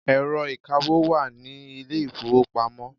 Ẹ̀rọ ìkawó wà ní ilé ìfowópamọ́.